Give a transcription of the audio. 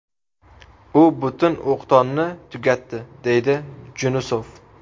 U butun o‘qdonni tugatdi”, dedi Junusov.